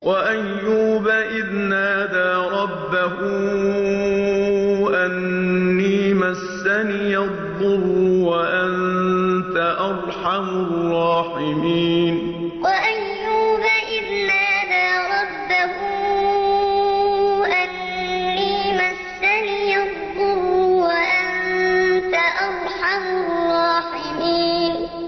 ۞ وَأَيُّوبَ إِذْ نَادَىٰ رَبَّهُ أَنِّي مَسَّنِيَ الضُّرُّ وَأَنتَ أَرْحَمُ الرَّاحِمِينَ ۞ وَأَيُّوبَ إِذْ نَادَىٰ رَبَّهُ أَنِّي مَسَّنِيَ الضُّرُّ وَأَنتَ أَرْحَمُ الرَّاحِمِينَ